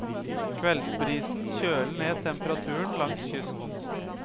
Kveldsbrisen kjøler ned temperaturen langs kysten.